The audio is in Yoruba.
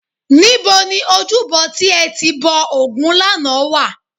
Níbo ni ojúbọ tí ẹ ti bọ ògún lánàá wà?